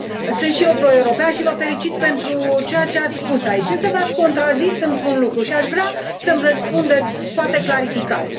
Sunt și eu proeuropean și vă felicit pentru ceea ce ați spus aici, însă v ați contrazis într o privință și aș vrea să mi răspundeți, poate clarificați.